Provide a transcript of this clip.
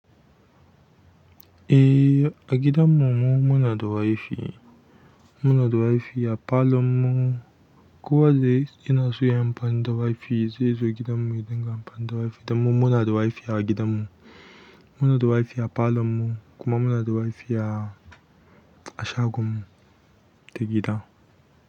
Eh, a gidanmu mu muna da WiFi. Muna da WiFi a palon mu. Ko wa da yana so ya yi amfani da WiFi zai zo gidanmu ya dinga amfani da WiFi dan mu muna da WiFi a gidanmu. Muna da WiFi a falon mu kuma muna da WiFi. A shagon mu ta gida.